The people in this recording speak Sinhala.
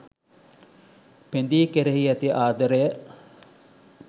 පෙඳී කෙරෙහි ඇති ආදරය